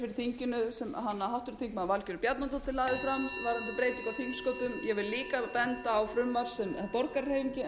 þinginu sem háttvirtur þingmaður valgerður bjarnadóttir lagði fram varðandi breytingu á þingsköpum ég vil líka benda á frumvarp sem borgarahreyfingin